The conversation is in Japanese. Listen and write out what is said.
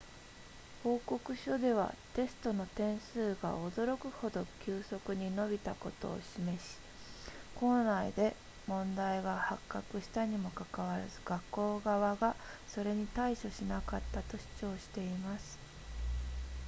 報告書ではテストの点数が驚くほど急速に伸びたことを示し校内で問題が発覚したにもかかわらず学校側がそれに対処しなかったと主張しています